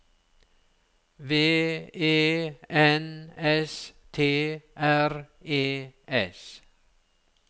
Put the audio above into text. V E N S T R E S